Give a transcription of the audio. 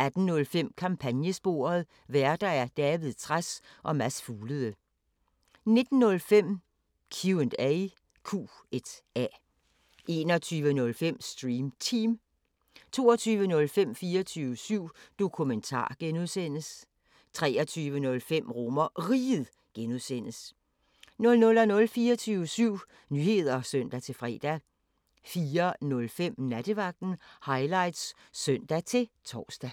18:05: Kampagnesporet: Værter: David Trads og Mads Fuglede 19:05: Q&A 21:05: Stream Team 22:05: 24syv Dokumentar (G) 23:05: RomerRiget (G) 00:00: 24syv Nyheder (søn-fre) 04:05: Nattevagten Highlights (søn-tor)